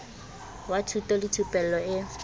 wa thuto le thupello e